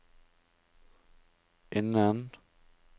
innen